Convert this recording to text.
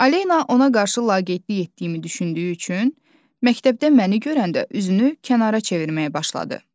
Alena ona qarşı laqeydlik etdiyimi düşündüyü üçün, məktəbdə məni görəndə üzünü kənara çevirməyə başladı.